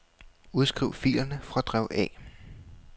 Udskriv filerne fra drev A.